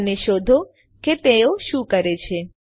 અને શોધો કે તેઓ શું કરે છે